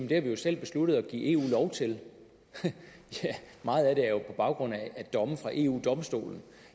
det har vi jo selv besluttet at give eu lov til ja meget af det er jo på baggrund af domme fra eu domstolen